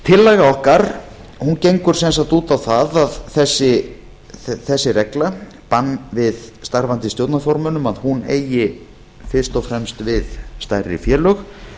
tillaga okkar gengur sem sagt út á það að þessi regla bann við starfandi stjórnarformönnum eigi fyrst og fremst við stærri félög